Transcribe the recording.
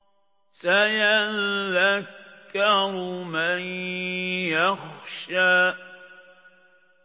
سَيَذَّكَّرُ مَن يَخْشَىٰ